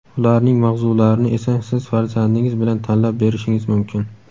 Ularning mavzularini esa siz farzandingiz bilan tanlab berishingiz mumkin!.